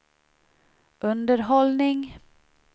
underhållning